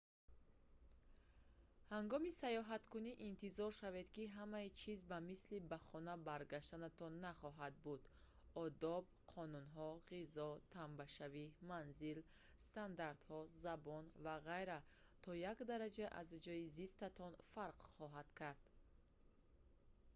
ҳангоми сайёҳаткунӣ интизор шавед ки ҳамаи чиз ба мисли ба хона баргаштанатон нахоҳад буд одоб қонунҳо ғизо тамбашавӣ манзил стандартҳо забон ва ғайра то як дараҷа аз ҷои зистатон фарқ хоҳанд кард